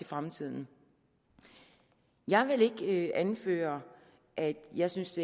fremtiden jeg vil ikke anføre at jeg synes